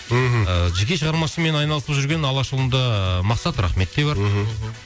мхм жеке шығармашылығымен айналысып жүрген алашұлында мақсат рахмет те бар мхм